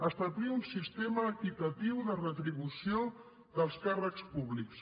establir un sistema equitatiu de retribució dels càrrecs públics